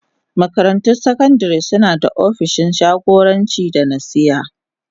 Makarantun sakandare suna da opishin jagoranci da nasiha.